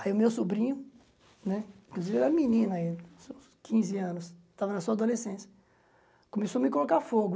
Aí o meu sobrinho, né inclusive era menino ainda, quinze anos, estava na sua adolescência, começou a me colocar fogo.